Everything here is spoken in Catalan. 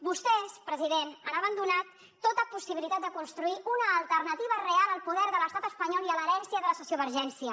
vostès president han abandonat tota possibilitat de construir una alternativa real al poder de l’estat espanyol i a l’herència de la sociovergència